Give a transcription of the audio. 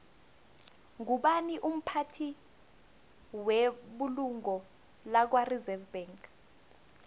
ngubani umphathi webulungo lakwareserve bank